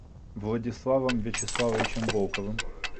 владиславом вячеславовичем волковым